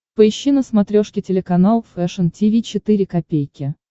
поищи на смотрешке телеканал фэшн ти ви четыре ка